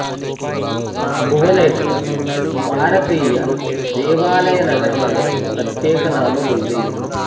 భువనేశ్వర్ భారతీయ దేవాలయ నగరం అనే ప్రత్యేక నామం ఉంది